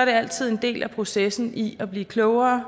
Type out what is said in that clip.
er det altid en del af processen i at blive klogere